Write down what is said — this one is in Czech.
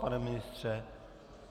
Pane ministře?